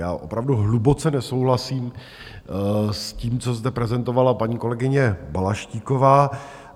Já opravdu hluboce nesouhlasím s tím, co zde prezentovala paní kolegyně Balaštíková.